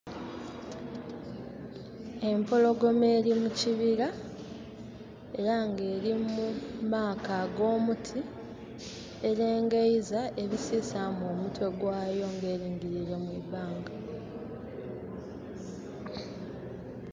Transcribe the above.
Empologoma eri mu kibira, era nga eli mu maaka ag'omuti. Elengeiza, ebisisaamu omutwe gwayo ng'eringiliire mu ibanga.